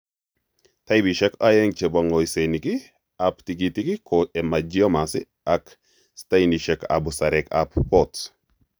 Taipisiek oeng' chebo ng'osenik ab tigitik ko hemangiomas ak stainisiek ab busareek ab port